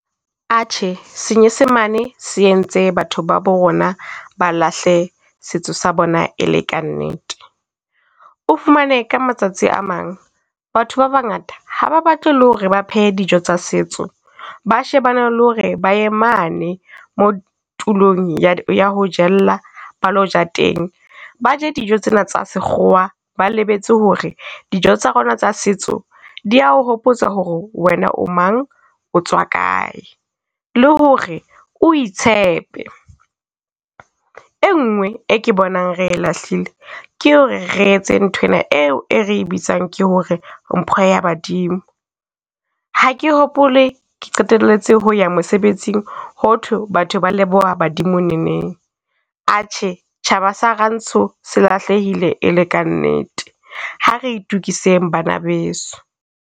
Atjhe! Senyesemane se entse batho ba bo rona ba lahle setso sa bona, e le ka nnete. O fumane ka matsatsi a mang, batho ba bangata ha ba batle le ho re ba phehe dijo tsa setso. Ba shebane le ho re ba ye mane mo tulong ya, ya ho jella balo ja teng, Ba je dijo tsena tsa sekgowa ba lebetse ho re dijo tsa rona tsa setso di ya o hopotsa ho re wena o mang otswa kae, le hore o itshepe. E ngwe e ke bonang re e lahlile, ke ho re re etse nthwena eo e re bitsang ke hore mpho ya Badimo. Ha ke hopole ke qetelletse ho ya mosebetsing hothwe batho ba leboha Badimo neneng. Atjhe! Tjhaba sa Rantsho se lahlehile e le ka nnete, ha re itukiseng bana beso.